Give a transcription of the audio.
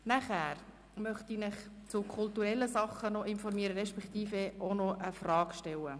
Nun möchte ich Sie über eine kulturelle Sache informieren respektive Ihnen eine Frage dazu stellen.